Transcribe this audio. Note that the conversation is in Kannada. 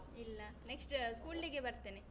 ಇಲ್ಲ. next school day ಗೆ ಬರ್ತೇನೆ.